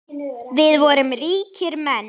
Við vorum ríkir menn.